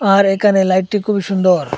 আর এইখানে লাইটটি খুবই সুন্দর।